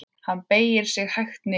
Hann beygir sig hægt niður.